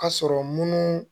Ka sɔrɔ munnu